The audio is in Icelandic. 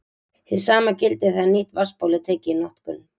Hið sama gildir þegar nýtt vatnsból er tekið í notkun.